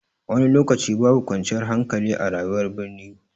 Wani lokaci babu kwanciyar hankali a rayuwar birni.